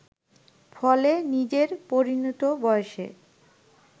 ফলে নিজের পরিণত বয়সে